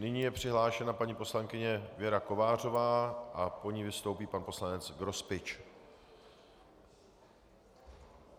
Nyní je přihlášena paní poslankyně Věra Kovářová a po ní vystoupí pan poslanec Grospič.